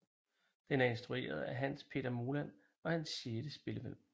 Den er instrueret af Hans Petter Moland og er hans sjette spillefilm